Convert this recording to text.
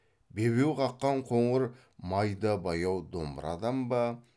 бебеу қаққан қоңыр майда баяу домбырадан ба